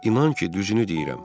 İnan ki, düzünü deyirəm.